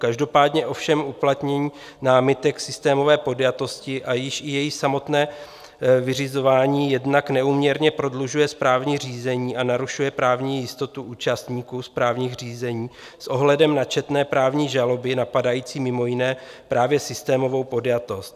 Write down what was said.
Každopádně ovšem uplatnění námitek systémové podjatosti a již i jejich samotné vyřizování jednak neúměrně prodlužuje správní řízení a narušuje právní jistotu účastníků správních řízení s ohledem na četné právní žaloby napadající mimo jiné právě systémovou podjatost.